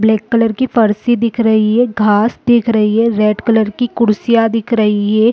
Black colour की फर्सी दिख रही है घास दिख रही है रेड कलर की कुर्सियां दिख रही है।